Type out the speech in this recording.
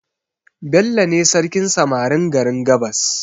Bello ne sarkin samarin garin gabas